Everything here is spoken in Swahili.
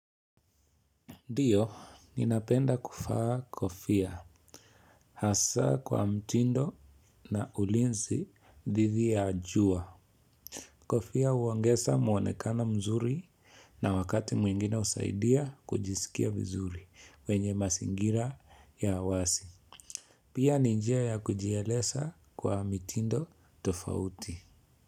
Ndiyo, ninapenda kuvaa kofia hasa kwa mtindo na ulinzi didhi ya jua. Kofia huongeza muonekano mzuri na wakati mwingine husaidia kujisikia vizuri wenye mazingira ya awasi. Pia ni njia ya kujieleza kwa mitindo tofauti.